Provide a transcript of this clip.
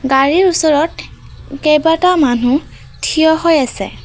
গাড়ীৰ ওচৰত কেইবাটাও মানুহ থিয় হৈ আছে।